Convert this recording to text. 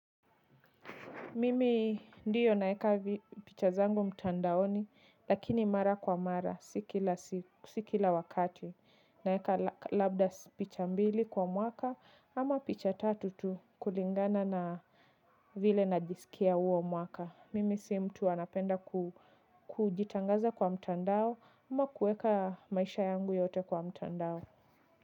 Mimi ndiyo naeka picha zangu mtandaoni, lakini mara kwa mara, si kila wakati. Naeka labda picha mbili kwa mwaka, ama picha tatu tu kulingana na vile najisikia uo mwaka. Mimi si mtu anapenda kujitangaza kwa mtandao, ama kuweka maisha yangu yote kwa mtandao.